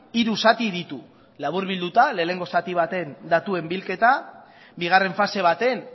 hiru zati ditu laburbilduta lehenengo zati baten datuen bilketa bigarren fase baten